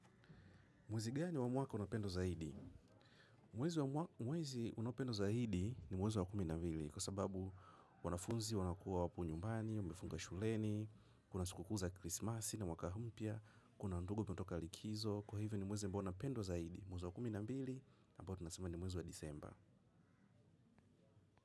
Mwezi gani wa mwaka unapendwa zaidi? Mwezi unaopendwa zaidi ni mwezi wa kumi na mbili kwa sababu wanafunzi, wanakuwa wapo nyumbani, wamefunga shuleni, kuna sikuku za krismasi na mwaka mpya, kuna ndugu tunatoka likizo. Kwa hivyo ni mwezi ambao unapendwa zaidi. Mwezi wa kumi na mbili, ambayo tunasema ni mwezi wa disemba.